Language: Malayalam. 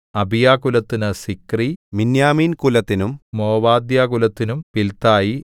അബീയാകുലത്തിന് സിക്രി മിന്യാമീൻകുലത്തിനും മോവദ്യാകുലത്തിനും പിൽതായി